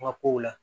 Ma kow la